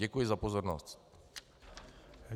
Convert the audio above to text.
Děkuji za pozornost.